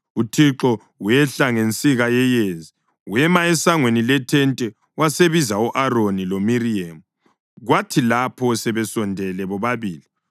UThixo wehla ngensika yeyezi; wema esangweni lethente wasebiza u-Aroni loMiriyemu. Kwathi lapho sebesondele bobabili,